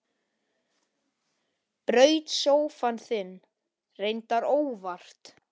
Braut sófann þinn, reyndar óvart.